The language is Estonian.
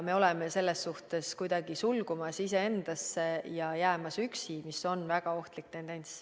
Me oleme selles suhtes kuidagi iseendasse sulgumas ja üksi jäämas, mis on väga ohtlik tendents.